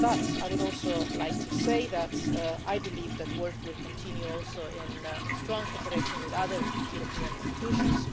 I would also like to say that I believe that work will continue also in strong cooperation with other European institutions.